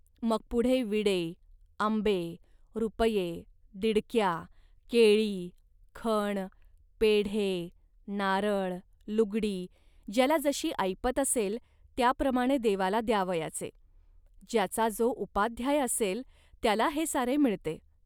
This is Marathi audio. मग पुढे विडे, आंबे, रुपये, दिडक्या, केळी, खण, पेढे, नारळ, लुगडी ज्याला जशी ऐपत असेल, त्याप्रमाणे देवाला द्यावयाचे. ज्याचा जो उपाध्याय असेल, त्याला हे सारे मिळते